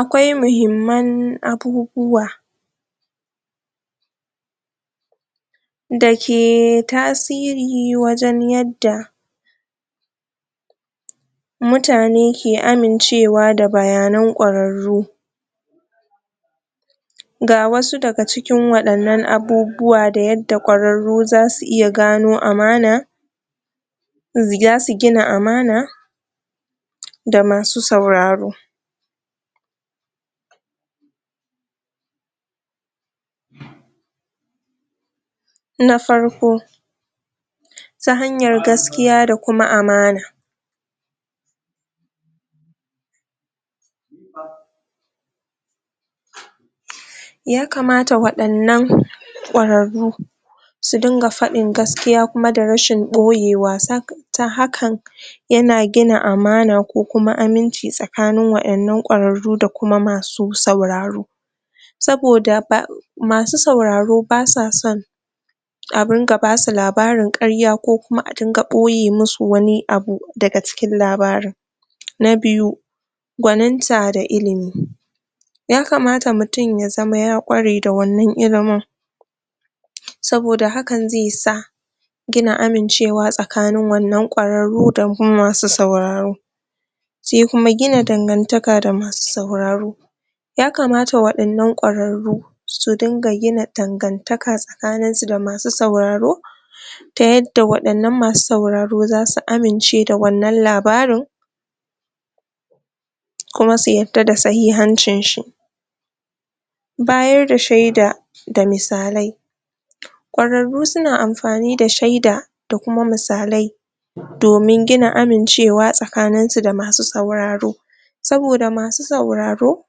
akwai mahimman abubuwa dake tasiri wajan yadda mutane ke amin cewa da bayanan ƙwararru ga wasu daga cikin wayannan abubuwa da yadda ƙwararru zasu gano amana zasu gina amana da masu sauraro na farko ta hayar gaskiya da kuma amana ya kamata waɗannan ƙwararru su rinƙa faɗin gaskiya da rasin ɓoyewa ta hakan yana gida amana ko kuma aminci tsakanin wannan ƙwararru da kuma masu sauraro saboda ba masu sauraro basa son adunga basu labarin ƙarya ko kuma arinƙa ɓoye musu wani abu daga cikin labarin na biyu gwaninta da ilimi yakamata mutun yazama ya ƙware da wannan ilimin saboda hakan zesa gina amincewa tsakanin wannan ƙwararru da kuma masu sauraro se kuma gina dangan taka da masu sauraro yakamata waɗannan ƙwararru su dunga gina dan gantaka tsakanin su da masu sauraro ta yarda masu sauraro zasu amince da wannan labarin kuma su yarda da sahihancin shi bayarda sheda da misalai ƙwararru suna amfani da sheda da kuma misalai domin gina amincewa tsakanisu da masu sauraro saboda masu sauraro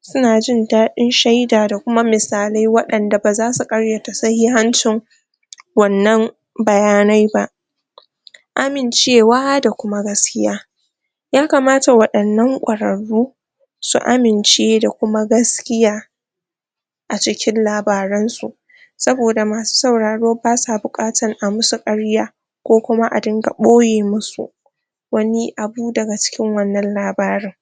suna jin daɗin sheda da kuma misalai waɗanda basu ƙaryata sahi hancin wannan baya naiba amin cewa da kuma gaskiya yakamata wayannan ƙorarru su amince da kuma gaskiya acikin labaran su saboda masu sauraro basa biƙatan amusu karya ko kuma adunga boye musu wani abu daga cikin wannan labarin